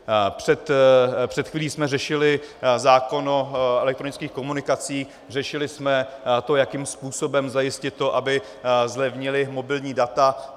Před chvílí jsme řešili zákon o elektronických komunikacích, řešili jsme to, jakým způsobem zajistit to, aby zlevnila mobilní data.